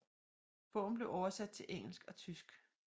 Bogen blev oversat til engelsk og tysk